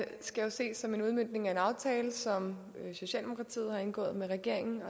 skal ses som en udmøntning af en aftale som socialdemokratiet har indgået med regeringen